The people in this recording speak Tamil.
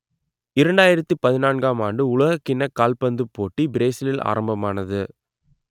இரண்டாயிரத்து பதினான்காம் ஆண்டு உலகக் கிண்ணக் கால்பந்துப் போட்டி பிரேசிலில் ஆரம்பமானது